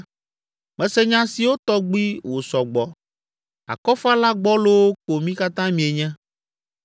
“Mese nya siawo tɔgbi wòsɔ gbɔ, akɔfala gbɔlowo ko mi katã mienye!